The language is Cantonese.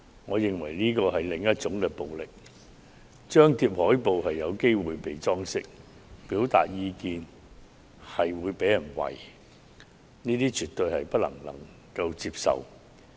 我認為這是另類暴力，張貼海報可能會被"裝修"，表達意見也會被人"圍"，這是絕對不能接受的。